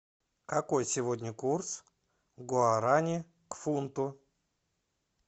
какой сегодня курс гуарани к фунту